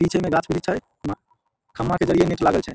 पीछे में गाछ वृक्ष हेय उहा खम्बा के जरिये नेट लागल छै ।